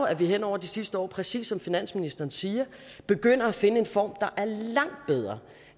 at vi hen over de seneste år præcis som finansministeren siger er begyndt at finde en form der